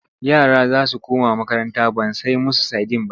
Yara za su koma makaranta ban sai musu sadin ba.-